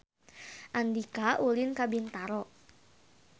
Andika ulin ka Bintaro